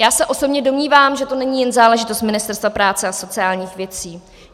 Já osobně se domnívám, že to není jen záležitost Ministerstva práce a sociálních věcí.